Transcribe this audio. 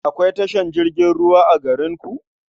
Akwai tashar jirgin ruwa a garinku?